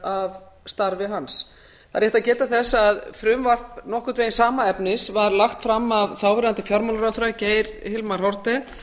af starfi hans það er rétt að geta þess að frumvarp nokkurn veginn sama efnis var lagt fram af þáverandi fjármálaráðherra geir hilmari haarde